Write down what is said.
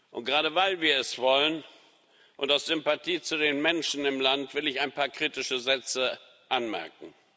Und gerade weil wir es wollen und aus Sympathie zu den Menschen im Land will ich ein paar kritische Sätze anmerken.